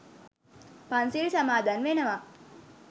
පන්සිල් සමාදන් වෙනවා.